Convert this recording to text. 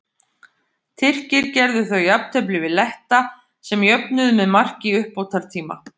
Tyrkir gerðu þá jafntefli við Letta sem jöfnuðu með marki í uppbótartíma.